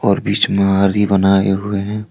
और बीच महारी बनाए हुए हैं।